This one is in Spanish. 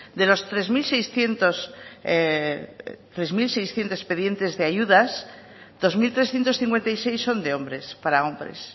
de los tres mil seiscientos expedientes de ayudas dos mil trescientos cincuenta y seis son de hombres para hombres